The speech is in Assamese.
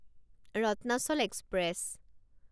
ৰত্নাচল এক্সপ্ৰেছ